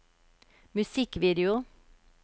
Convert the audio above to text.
musikkvideo